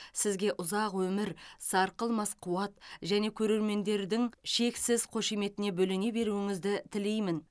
сізге ұзақ өмір сарқылмас қуат және көрермендердің шексіз қошеметіне бөлене беруіңізді тілеймін